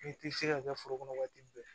N'i ti se ka kɛ foro kɔnɔ waati bɛɛ